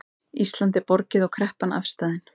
Íslandi er borgið og kreppan afstaðin